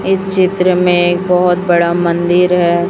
इस चित्र में एक बहुत बड़ा मंदिर है।